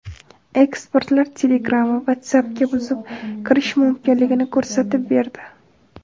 Ekspertlar Telegram va WhatsApp’ga buzib kirish mumkinligini ko‘rsatib berdi.